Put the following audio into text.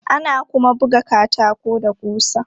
Ana kuma buga katako da ƙusa.